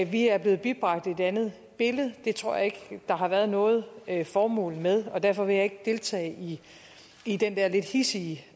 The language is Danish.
vi er blevet bibragt et andet billede det tror jeg ikke der har været noget formål med og derfor vil jeg ikke deltage i den der lidt hidsige